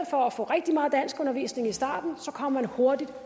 for at få rigtig meget danskundervisning i starten kommer man hurtigt